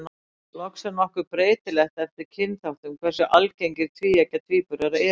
Loks er nokkuð breytilegt eftir kynþáttum hversu algengir tvíeggja tvíburar eru.